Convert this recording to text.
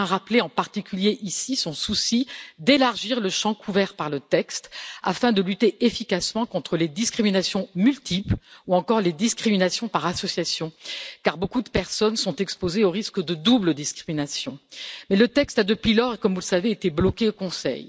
Je tiens à rappeler en particulier ici son souci d'élargir le champ couvert par le texte afin de lutter efficacement contre les discriminations multiples ou encore les discriminations par association, car beaucoup de personnes sont exposées au risque de double discrimination. Le problème est que le texte a depuis lors, comme vous le savez, été bloqué au Conseil.